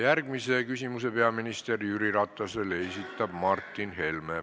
Järgmise küsimuse peaminister Jüri Ratasele esitab Martin Helme.